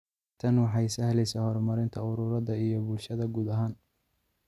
Tani waxay sahlaysa horumarinta ururada iyo bulshada guud ahaan.